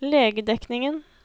legedekningen